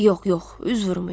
Yox, yox, üz vurmayın.